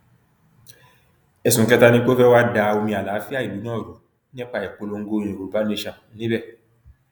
ẹsùn kẹta ni pé ó fẹ́ wáá da omi àlàáfíà ìlú náà rú nípa ìpolongo yorùbá nation níbẹ